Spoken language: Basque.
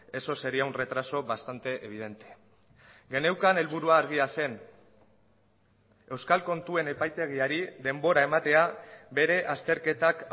eso sería un retraso bastante evidente geneukan helburua argia zen euskal kontuen epaitegiari denbora ematea bere azterketak